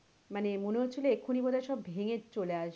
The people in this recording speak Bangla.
মানে মনে হচ্ছিলো এক্ষুনি বোধ হয় সব ভেঙে চলে আসবে মানে,